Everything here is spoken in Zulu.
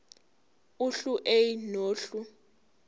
uhlu a nohlu